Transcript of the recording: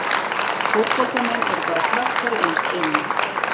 Fótboltamenn eru bara krakkar innst inni.